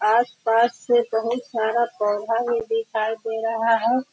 आस-पास से बहोत सारे पौधा भी दिखाई दे रहा है।